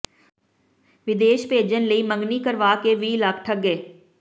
ਵਿਦੇਸ਼ ਭੇਜਣ ਲਈ ਮੰਗਣੀ ਕਰਵਾ ਕੇ ਵੀਹ ਲੱਖ ਠੱਗੇੇ